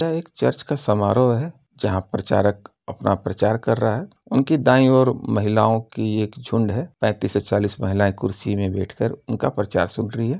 यह एक चर्च का समारोह है जहां प्रचारक अपना प्रचार कर रहा है। उनकी दाईं ओर महिलाओं की एक झुंड है। पैंतीस से चालीस महिलाएं कुर्सी में बैठकर उनका प्रचार सुन रही है।